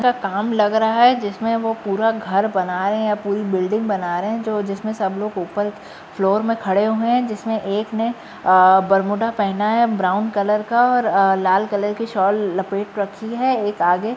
तथा काम लग रहा है जिसमे वो पूरा घर बनाये हैं या पूरी बिल्डिंग बना रहे हैं जिसमे सब लोग ऊपर फ्लोर में खड़े हुए हैं जिसमे एक ने बरमूडा अ पहना है ब्राउन कलर का और अ लाल कलर की शॉल लपेट रखी है। एक आगे --